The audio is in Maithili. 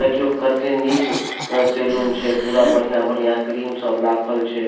देखियो कत्ते निक अं सैलून छे पूरा बढ़िया-बढ़िया क्रीम सब राखल छे